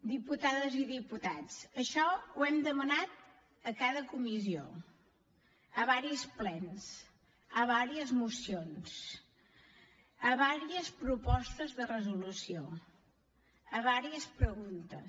diputades i diputats això ho hem demanat a cada comissió a diversos plens a diverses mocions a diverses propostes de resolució a diverses preguntes